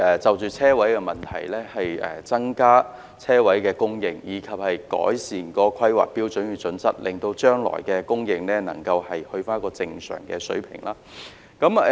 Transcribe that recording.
就着車位問題，我們也爭取增加車位的供應，以及改善《香港規劃標準與準則》，令將來的供應能回復正常水平。